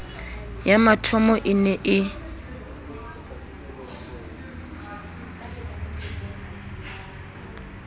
ya mathomo e ne e